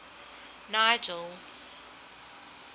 nigel